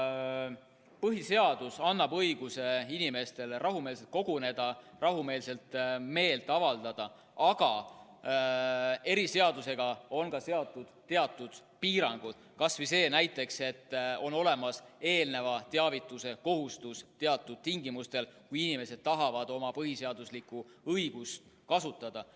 Põhiseadus annab õiguse inimestele rahumeelselt koguneda, rahumeelselt meelt avaldada, aga eriseadusega on ka seatud teatud piirangud, kas või see näiteks, et on teavituse kohustus teatud tingimustel, kui inimesed tahavad oma põhiseaduslikku õigust kasutada.